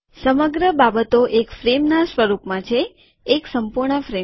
સમગ્ર બાબતો એક ફ્રેમના સ્વરૂપમાં છે એક સંપૂર્ણ ફ્રેમ